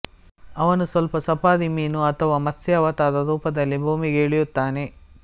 ಅವನು ಸ್ವಲ್ಪ ಸಫಾರಿ ಮೀನು ಅಥವಾ ಮತ್ಸ್ಯ ಅವತಾರ ರೂಪದಲ್ಲಿ ಭೂಮಿಗೆ ಇಳಿಯುತ್ತಾನೆ